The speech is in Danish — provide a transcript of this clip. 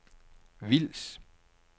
Vils